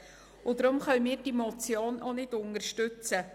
Deshalb können wir diese Motion auch nicht unterstützen.